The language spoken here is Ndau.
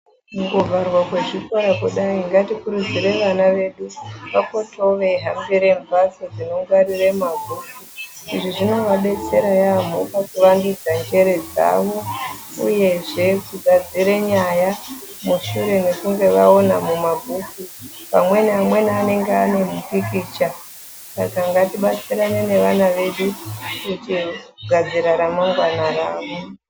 Kungovharwa kwezvikora kudai ngatikurudzire vana vedu vapotewo veihambira mbatso dzinongwarira mabhuku. Izvi zvinoadetsera yaambo kuvandudza njere dzavo uyezve kugadzira nyaya mushure mekunge vaona mumabhuku pamweni amweni anenge ane zvimupikicha. Saka ngatibatsirane nevana vedu kugadzira ramangwani ravo.